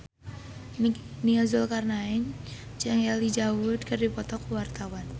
Nia Zulkarnaen jeung Elijah Wood keur dipoto ku wartawan